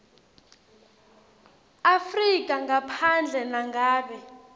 afrika ngaphandle nangabe